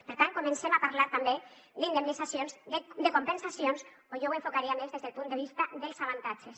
per tant comencem a parlar també d’indemnitzacions de compensacions o jo ho he enfocaria més des del punt de vista dels avantatges